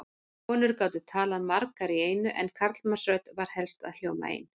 Konur gátu talað margar í einu en karlmannsrödd varð helst að hljóma ein.